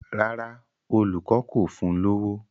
Rárá, olùkọ́ kò fún un lówó.